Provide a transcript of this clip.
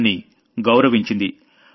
దాన్ని గౌరవించింది